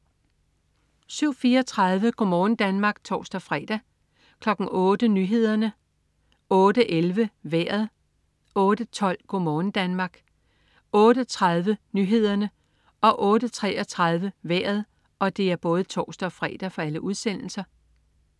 07.34 Go' morgen Danmark (tors-fre) 08.00 Nyhederne (tors-fre) 08.11 Vejret (tors-fre) 08.12 Go' morgen Danmark (tors-fre) 08.30 Nyhederne (tors-fre) 08.33 Vejret (tors-fre)